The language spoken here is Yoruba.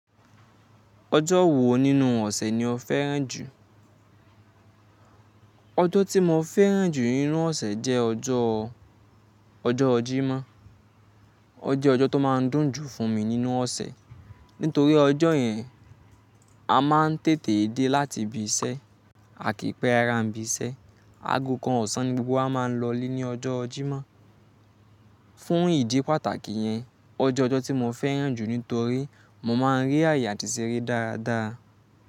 Ọjọ́ wo nínú ọ̀sẹ̀ ni o fẹ́ràn jù? Ọjọ́ tí mo fẹ́ràn jù nínú ọ̀sẹ̀ jẹ́ ọjọ́, ọjọ́ Jímọ̀. Ó jẹ́ ọjọ́ tó máa ń dùn jù fún mi nínú ọ̀sẹ̀, nítorí ọjọ́ yẹn a máa ń tètè dé láti ibi iṣẹ́ àkii pé rara ń bí iṣẹ́. Aago kan ọ̀sán ni gbogbo a máa ń lọlé ní ọjọ́ Jímọ̀. Fún ìdí pàtàkì yẹn, ọjọ́ ọjọ́ tí mo fẹ́ràn jù nítorí mo máa ń rí àyè àti ṣeré dáradára.